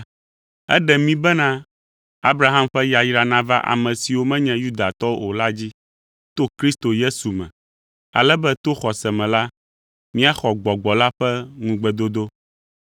Eɖe mí bena Abraham ƒe yayra nava ame siwo menye Yudatɔwo o la dzi to Kristo Yesu me, ale be to xɔse me la, míaxɔ Gbɔgbɔ la ƒe ŋugbedodo.